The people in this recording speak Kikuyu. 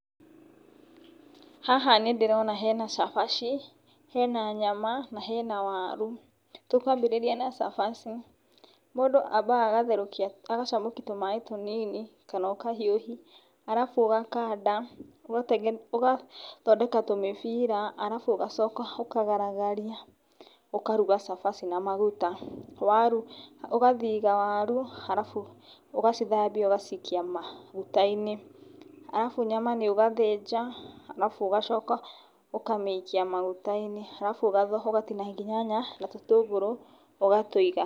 Haha nĩ ndĩrona hena cabaci, hena nyama na hena waru, tũkwambĩrĩria na cabaci, mũndũ ambaga agatherũkia agacamũkia tũmaĩ tũnini, kana ũkahiũhi, arabu ũgakanda ũgathondeka tũmĩbira, arabu ũgacoka ũkagaragaria, ũkaruga cabaci na maguta, ũgathiga waru, arabu ũgacithambia ũgaciikia maguta-inĩ, arabu nyama nĩ ũgathĩnja, arabu ũgacoka ũkamĩikia maguta-inĩ, arabu ũgatinangia nyanya na tũtũngũrũ, ũgatũiga.